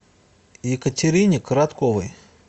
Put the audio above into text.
екатерине коротковой